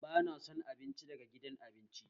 Ba na son abinci daga gidan abinci